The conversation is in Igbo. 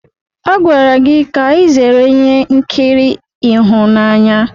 A gwara gị ka ị zere ihe nkiri ịhụnanya!